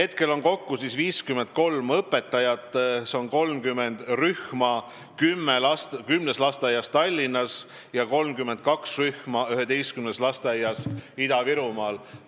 Praegu on kokku 53 õpetajat, see on 30 rühma kümnes lasteaias Tallinnas ja 32 rühma üheteistkümnes lasteaias Ida-Virumaal.